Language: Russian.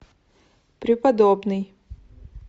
преподобный